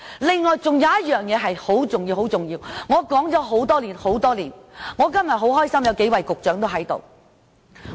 此外，還有一件很重要的事，我說了很多年，我今天很高興見到有幾位局長在席。